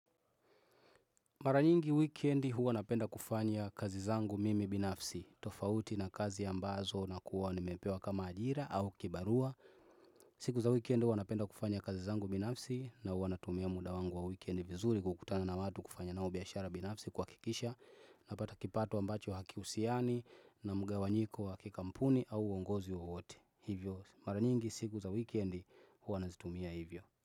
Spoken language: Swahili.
Maranyingi weekend huwa napenda kufanya kazi zangu mimi binafsi, tofauti na kazi ambazo nakuwa nimepewa kama ajira au kibarua. Siku za weekend huwa napenda kufanya kazi zangu binafsi na huwa natumia muda wangu wa weekend vizuri kukutana na watu kufanya nao biashara binafsi kwa kuhakikisha napata kipato ambacho haki husiani na mgawanyiko wa kikampuni au uongozi wowote. Hivyo mara nyingi siku za weekend huwa nazitumia hivyo.